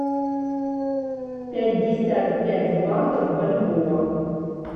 пятьдесят пять батов в бальбоа